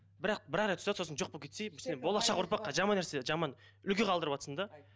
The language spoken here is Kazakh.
бірақ бір ақ рет ұста сосын жоқ болып кетсей сен болашақ ұрпаққа жаман нәрсе жаман үлгі қалдырыватсың да